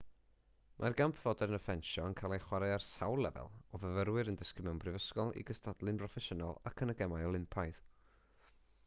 mae'r gamp fodern o ffensio yn cael ei chwarae ar sawl lefel o fyfyrwyr yn dysgu mewn prifysgol i gystadlu'n broffesiynol ac yn y gemau olympaidd